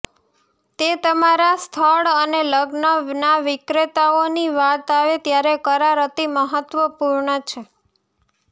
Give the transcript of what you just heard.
તે તમારા સ્થળ અને લગ્નના વિક્રેતાઓની વાત આવે ત્યારે કરાર અતિ મહત્વપૂર્ણ છે